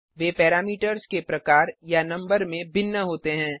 वे parameters के प्रकार या नंबर में भिन्न होते हैं